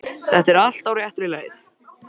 Þetta er allt á réttri leið.